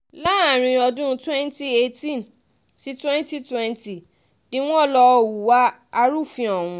láàrin ọdún twenty twenty-eight sí twenty twenty ni wọ́n lọ hùwà arúfin ọ̀hún